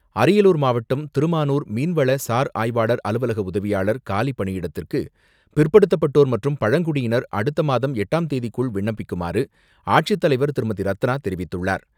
அரியலூர் மாவட்டம், திருமானூர் மீன்வள சார் ஆய்வாளர் அலுவலக உதவியாளர் காலி பணியிடத்திற்கு பிற்படுத்தப்பட்டோர் மற்றும் பழங்குடியினர் அடுத்தமாதம் எட்டாம் தேதிக்குள் விண்ணப்பிக்குமாறு, ஆட்சித்தலைவர் திருமதி.ரத்னா தெரிவித்துள்ளார்.